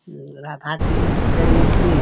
हम्म राधा कृष्ण के मूर्ति --